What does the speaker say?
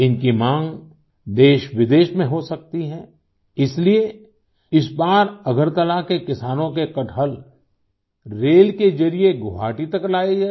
इनकी मांग देशविदेश में हो सकती है इसलिए इस बार अगरतला के किसानों के कटहल रेल के जरिए गुवाहाटी तक लाये गए